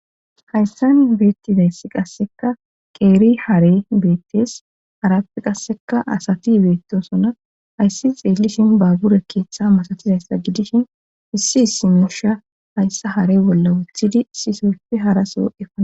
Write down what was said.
hayssan beettizayssi qasseka qeeri hare beettes arappi qasseka asati beettosona ayssi xeellishin baabure keeththa masatizayssa gidishin hissi hissi mesha hayssa hare bolla wuthidi sisofi haraso efaa